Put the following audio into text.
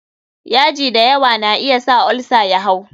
yaji da yawa na iya sa olsa ya hau.